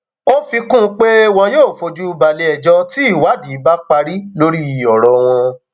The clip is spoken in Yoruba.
ó fi kún un pé wọn yóò fojú balẹẹjọ tí ìwádìí bá parí lórí ọrọ wọn